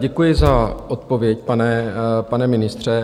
Děkuji za odpověď, pane ministře.